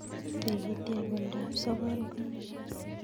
Tigitiat ab oldab sogol ko nee